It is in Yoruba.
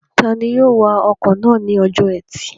Tani yóò wa ọkọ̀ náà ní ọjọ́ ẹtì?